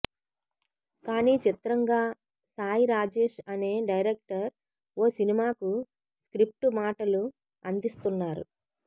కానీ చిత్రంగా సాయిరాజేష్ అనే డైరక్టర్ ఓ సినిమాకు స్క్రిప్టు మాటలు అందిస్తున్నారు